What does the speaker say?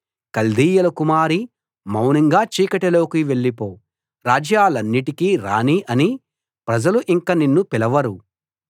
కల్దీయుల కుమారీ మౌనంగా చీకటిలోకి వెళ్ళిపో రాజ్యాలన్నిటికీ రాణి అని ప్రజలు ఇంక నిన్ను పిలవరు